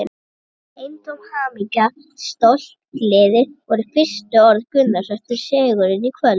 Eintóm hamingja, stolt, gleði voru fyrstu orð Gunnars eftir sigurinn í kvöld.